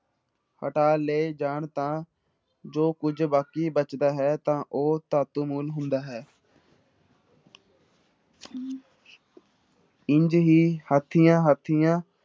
ਹਟਾ ਲਏ ਜਾਣ ਤਾਂ ਜੋ ਕੁੱਝ ਬਾਕੀ ਬਚਦਾ ਹੈ ਤਾਂ ਉਹ ਧਾਤੂ ਮੂਲ ਹੁੰਦਾ ਹੈ ਇੰਞ ਹੀ ਹਾਥੀਆਂ ਹਾਥੀਆਂ